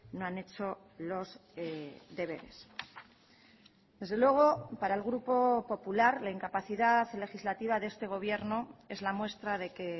no han hecho los deberes desde luego para el grupo popular la incapacidad legislativa de este gobierno es la muestra de que